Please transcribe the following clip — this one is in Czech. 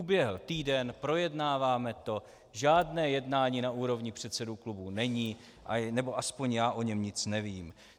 Uběhl týden, projednáváme to, žádné jednání na úrovni předsedů klubů není, nebo aspoň já o něm nic nevím.